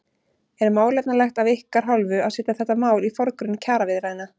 Er málefnalegt af ykkar hálfu að setja þetta mál í forgrunn kjaraviðræðna?